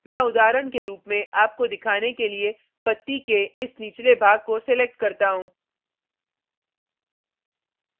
मैं उदाहरण के रूप में आपको दिखाने के लिए पत्ती के इस निचले भाग को select करता हूँ